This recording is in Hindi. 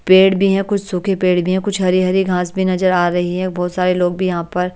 पेड़ भी हैं कुछ सूखे पेड़ भी हैं कुछ हरी-हरी घास भी नजर आ रही है बहुत सारे लोग भी यहाँ पर--